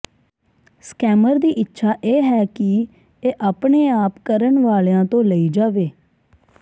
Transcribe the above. scammer ਦੀ ਇੱਛਾ ਇਹ ਹੈ ਕਿ ਇਹ ਆਪਣੇ ਆਪ ਕਰਨ ਵਾਲਿਆਂ ਤੋਂ ਲਈ ਜਾਵੇ